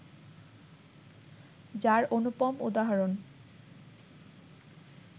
যার অনুপম উদাহরণ